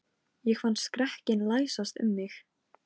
Sabrína, hvað er í dagatalinu mínu í dag?